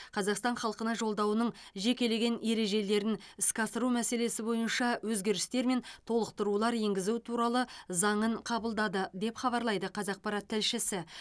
қазақстан халқына жолдауының жекелеген ережелерін іске асыру мәселесі бойынша өзгерістер мен толықтырулар енгізу туралы заңын қабылдады деп хабарлайды қазақпарат тілшісі